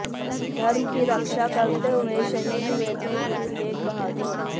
धर्म की रक्षा करते हुए शहीद हुए थे गुरु तेग बहादुर